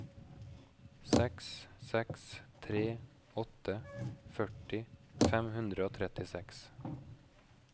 seks seks tre åtte førti fem hundre og trettiseks